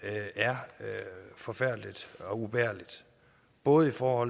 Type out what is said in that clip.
er forfærdeligt og ubærligt både for